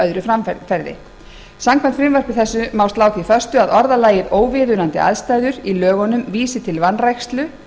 öðru framferði samkvæmt frumvarpi þessu má slá því föstu að orðalagið óviðunandi aðstæður í lögunum vísi til vanrækslu